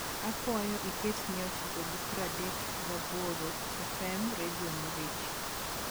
akwayo iket mia achiko gi praadek gi aboro fm redio mirchi